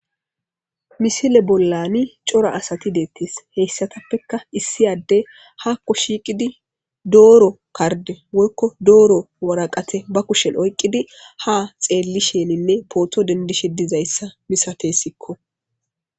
misile bollani cora asati deettis heyssatappekka issiyadde haakko shiiqidi dooro karde woykko dooro waraqate ba kushel oyqqidi ha xeelli sheninne pooto dendishe dizayssa misatessikko